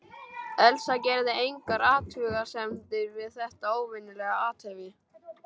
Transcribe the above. Elsa gerði engar athugasemdir við þetta óvenjulega athæfi.